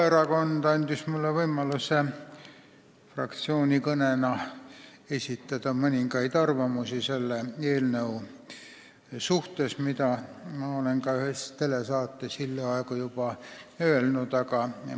Vabaerakond andis mulle võimaluse esitada fraktsiooni kõnena mõningaid arvamusi selle eelnõu suhtes, mida ma hiljaaegu väljendasin ka ühes telesaates.